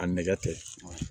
A nɛgɛ tɛ